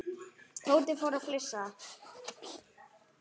Tóti fór að flissa.